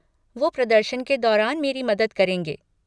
वो प्रदर्शन के दौरान मेरी मदद करेंगे।